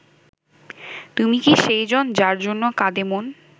তুমি কি সেই জন যার জন্য কাঁদে মন